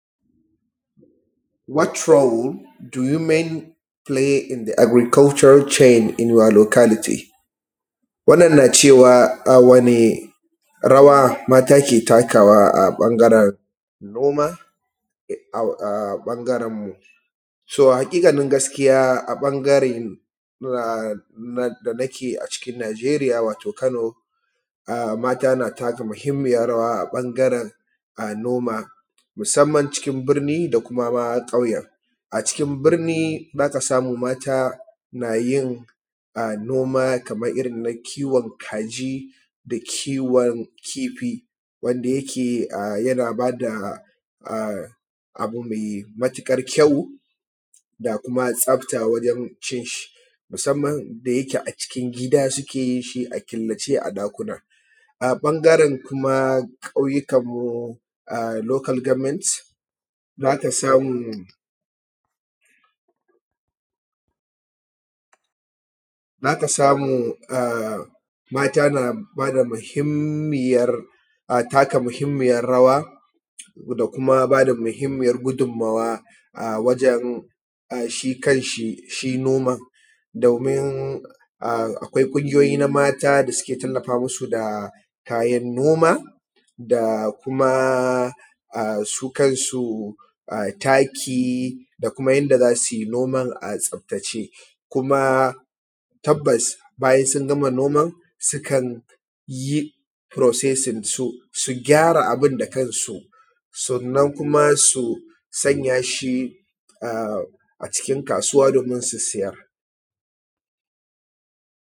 What role do women play in the agricultural change in your locality. Wannan na cewa wane rawa mata ke takawa a ɓangaren noma, a ɓangaren, so haƙiƙanin gaskiya, a ɓangaren da nake a cikin Najeriya, wato kano, mata na taka muhimmiyan rawa a ɓangaren noma, musamman cikin birni da kuma ƙauyen. A cikin birni, za ka samu mata na yin noma kaman iri na kiwon kaji, na kiwon kifi, wanda yake yana ba da a abu mai matukar kyau, da kuma tsafta, wajen cin shi musamman da yake a cikin gida suke yin shi a killace a ɗakuna. A ɓangaren kuma ƙauyukan mu a local government, za ka samu mata na bada muhimmiyan taka muhimmiyar rawa da kuma ba da muhimmiyan gudunmawa wajen shi kan shi, shi noman domin akwai ƙungiyoyi na mata da suke tallafa musu da kayan noma, da kuma su kansu a taki, da kuma yadda za su yi noman a tsaftace. Kuma tabbas bayan sun gama noman, sukan yi processing, su gyara abun da kansu, sannan kuma su sanya shi a cikin kasuwa domin su siyar.